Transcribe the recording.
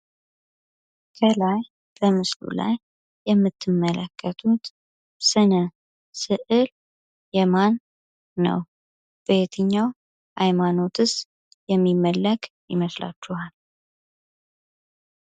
ከላይ ከምስሉ ላይ የምትመለከቱት ስነ ስእል የማን ነው? በየትኛው ሃይማኖትስ የሚመለክ ይመስላችኋል?